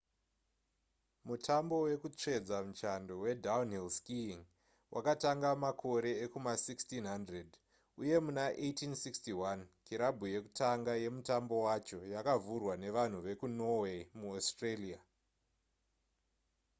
mutambo wekutsvedza muchando wedownhill skiiing wakatanga makore ekuma1600 uye muna 1861 kirabhu yekutanga yemutambo wacho yakavhurwa nevanhu vekunorway muaustralia